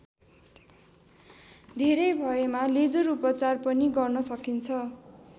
धेरै भएमा लेजर उपचार पनि गर्न सकिन्छ।